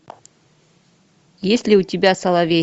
есть ли у тебя соловей